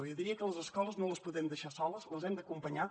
jo diria que les escoles no les podem deixar soles les hem d’acompanyar